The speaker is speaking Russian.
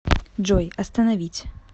джой остановить